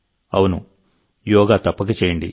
అవును యోగా తప్పక చేయండి